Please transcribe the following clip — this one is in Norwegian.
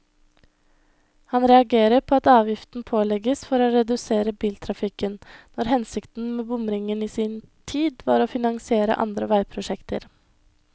Han reagerer på at avgiften pålegges for å redusere biltrafikken, når hensikten med bomringen i sin tid var å finansiere andre veiprosjekter.